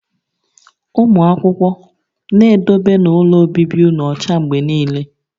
Ụmụ akwụkwọ, na-edobenu ụlọ obibi ụnụ ọcha mgbe niile!